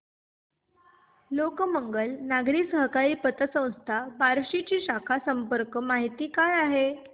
लोकमंगल नागरी सहकारी पतसंस्था बार्शी ची शाखा संपर्क माहिती काय आहे